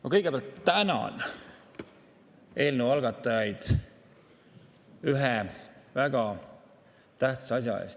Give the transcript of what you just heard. Ma kõigepealt tänan eelnõu algatajaid ühe väga tähtsa asja eest.